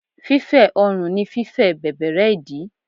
Fífẹ́ ọrùn ni fífẹ̀ bẹ̀bẹ̀rẹ́ ìdí.